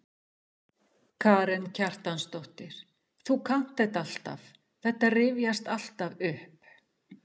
Karen Kjartansdóttir: Þú kannt þetta alltaf, þetta rifjast alltaf upp?